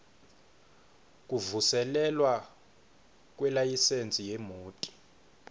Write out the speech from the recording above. kuvuselelwa kwelayisensi yemoti